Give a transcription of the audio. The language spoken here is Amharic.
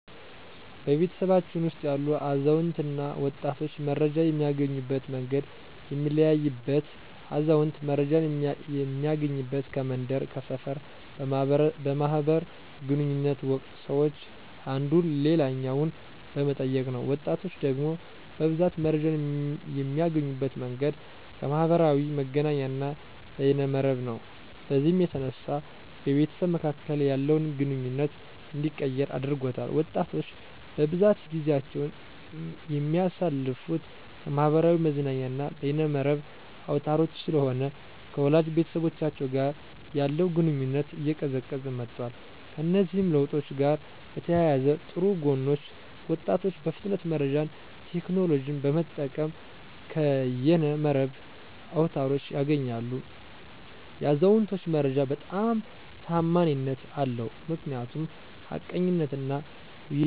በቤተሰባችን ውስጥ ያሉ አዛውንትና ወጣቶች መረጃን የሚያገኙበት መንገድ የሚለያይበት አዛውንት መረጃን እሚያገኙበት ከመንደር፥ ከሰፈር በማህበር ግንኙነት ወቅት ሰወች አንዱ ሌላኛውን በመጠየቅ ነው። ወጣቶች ደግሞ በብዛት መረጃን የሚያገኙበት መንገድ ከማህበራዊ መገናኛና በየነ መረብ ነው። በዚህም የተነሳ በቤተሰብ መካከል ያለውን ግንኙነት እንዲቀየር አድርጎታል። ወጣቶች በብዛት ጊዜአቸውን የሚያሳልፍት ከማህበራዊ መዝናኛና በየነ መረብ አውታሮች ስለሆነ ከወላጅ ቤተሰቦቻቸው ጋር ያለው ግንኙነት እየቀዘቀዘ መጧል። ከእነዚህ ለውጦች ጋር በተያያዘ ጥሩ ጎኖች ወጣቶች በፍጥነት መረጃን ቴክኖሎጅን በመጠቀም ከየነ መረብ አውታሮች ያገኛሉ። የአዛውንቶች መረጃ በጣም ተአማኒነት አለው ምክንያቱም ሀቀኝነትና ውይይትን መሰረት ያደረገ ነው። ስጋቶች ደግሞ ማህበር መረጃ ተአማኒነት አጠራጣሪ ነዉ።